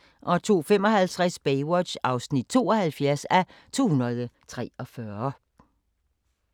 02:55: Baywatch (72:243)